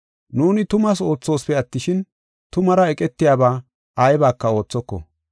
Nuuni tumaas oothoosipe attishin, tumaara eqetiyaba aybaka oothoko.